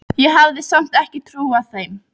Vinni, hvernig er veðrið úti?